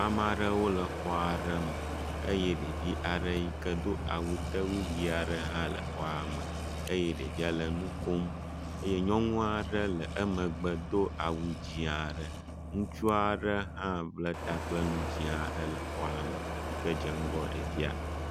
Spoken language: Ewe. Ame aɖewo le xɔ aɖe me eye ɖevi aɖe yi ke do awu tewui ʋi aɖe hã le xɔa me eye ɖevia le nu kom eye nyɔnu aɖe le emegbe do awu dzɛ̃ aɖe. Ŋutsu aɖe hã bla ta kple nu dzɛ̃ aɖe le xɔa me yi ke dze ŋgɔ ɖevia.